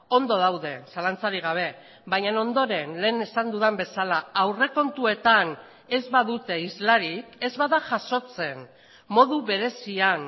ondo daude zalantzarik gabe baina ondoren lehen esan dudan bezala aurrekontuetan ez badute islarik ez bada jasotzen modu berezian